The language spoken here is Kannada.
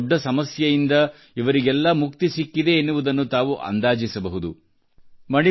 ಎಷ್ಟು ದೊಡ್ಡ ಸಮಸ್ಯೆಯಿಂದ ಇವರಿಗೆಲ್ಲ ಮುಕ್ತಿ ಸಿಕ್ಕಿದೆ ಎನ್ನುವುದನ್ನು ತಾವು ಅಂದಾಜಿಸಬಹುದು